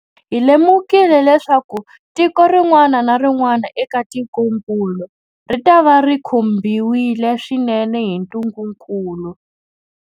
Hi lemukile leswaku tiko rin'wana na rin'wana eka tikokulu ritava ri khumbiwile swinene hi ntungukulu.